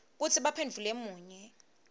kutsi baphendvule munye